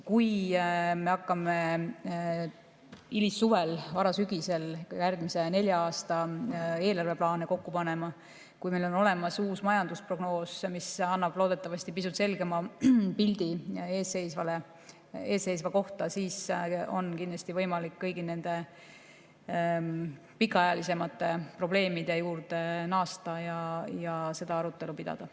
Kui me hakkame hilissuvel ja varasügisel järgmise nelja aasta eelarve plaane kokku panema, kui meil on olemas uus majandusprognoos, mis annab loodetavasti pisut selgema pildi eesseisva kohta, siis on kindlasti võimalik kõigi nende pikaajalisemate probleemide juurde naasta ja seda arutelu pidada.